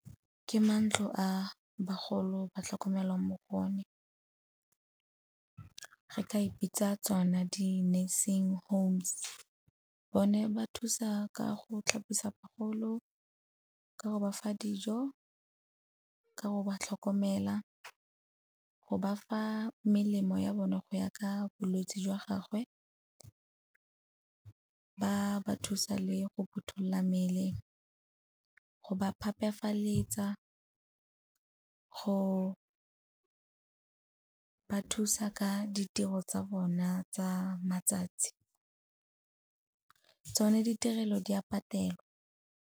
Ke mantlo a bagolo ba tlhokomelwang mo go one, re ka e bitsa tsona di-nursing homes. Bone ba thusa ka go tlhapisa bagolo, ka go ba fa dijo, ka go ba tlhokomela, go ba fa melemo ya bone go ya ka bolwetse jwa gagwe, ba ba thusa le go phuthulola mmele, go ba phepafaletsa, go ba thusa ka ditiro tsa bona tsa matsatsi. Tsone ditirelo di a patelwa.